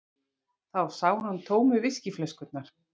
Þá sá hann tómu viskíflöskurnar.